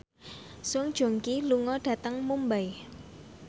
Song Joong Ki lunga dhateng Mumbai